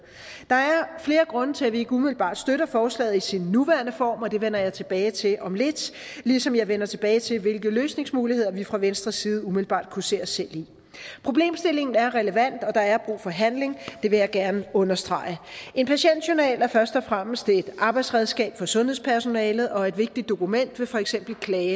der er flere grunde til at vi ikke umiddelbart støtter forslaget i sin nuværende form og det vender jeg tilbage til om lidt ligesom jeg vender tilbage til hvilke løsningsmuligheder vi fra venstres side umiddelbart kunne se os selv i problemstillingen er relevant og der er brug for handling det vil jeg gerne understrege en patientjournal er først og fremmest et arbejdsredskab for sundhedspersonalet og et vigtigt dokument ved for eksempel klage